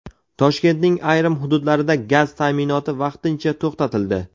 Toshkentning ayrim hududlarida gaz ta’minoti vaqtincha to‘xtatildi.